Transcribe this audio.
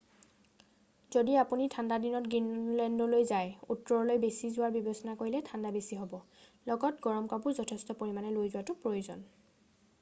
যদি আপুনি ঠাণ্ডা দিনত গ্ৰীণলেণ্ডলৈ যায় উত্তৰলৈ বেছি যোৱাৰ বিবেচনা কৰিলে ঠাণ্ডা বেছি হ'ব লগত গৰম কাপোৰ যথেষ্ট পৰিমানে লৈ যোৱাটো প্ৰয়োজন।